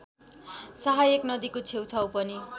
सहायक नदीको छेउछाउ पनि